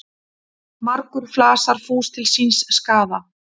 Margur flasar fús til síns skaða.